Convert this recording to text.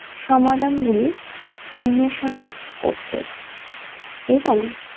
সমাধান গুলি উন্মেষণা করতে এবং